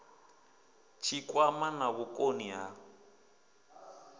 tshikwama na vhukoni ha u